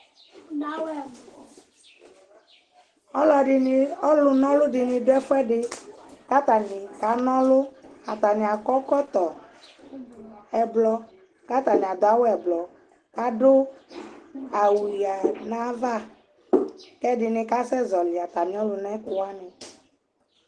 ɔlɔdini, ɔlʋ nɔlʋ dini dʋ ɛƒʋɛdi kʋ atani ka nɔlʋ, atani akɔ ɛkɔtɔ ɛblɔ kʋ atani adʋ awʋ bɛblɔ kʋ adʋ awʋ yanʋ aɣa kʋ ɛdini kasɛ zɔli atami ɔlʋna kʋ wani